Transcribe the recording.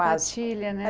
Quase Sapatilha, né?